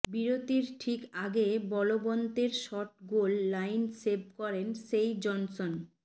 বিরতির ঠিক আগে বলবন্তের শট গোল লাইন সেভ করেন সেই জনসন